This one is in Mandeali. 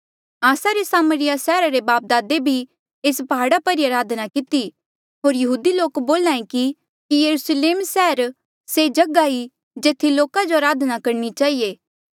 आस्सा रे सामरिया सैहरा रे बापदादे भी एस प्हाड़ा पर ई अराधना किती होर यहूदी लोक बोल्हा ऐें कि यरुस्लेम सैहरा से जगहा ई जेथी लोका जो अराधना करणी चहिए